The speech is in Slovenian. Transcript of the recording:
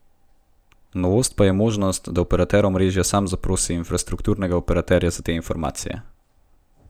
Novost pa je možnost, da operater omrežja sam zaprosi infrastrukturnega operaterja za te informacije.